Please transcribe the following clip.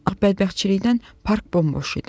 A bədbəxtçilikdən park bomboş idi.